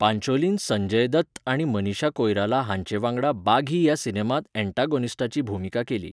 पांचोलीन संजय दत्त आनी मनीषा कोइराला हांचे वांगडा बाघी ह्या सिनेमांत अँटागोनिस्टाची भुमिका केली.